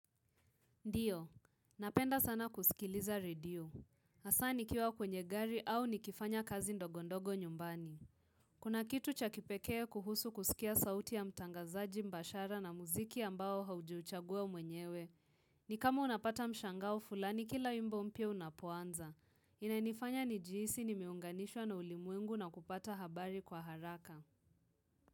Ndiyo, napenda sana kusikiliza radio. Hasa nikiwa kwenye gari au nikifanya kazi ndogo ndogo nyumbani. Kuna kitu cha kipekee kuhusu kusikia sauti ya mtangazaji mbashara na muziki ambao haujuchagua mwenyewe. Ni kama unapata mshangao fulani kila wimbo mpya unapoanza. Inanifanya nijihisi nimeunganishwa na ulimwengu na kupata habari kwa haraka.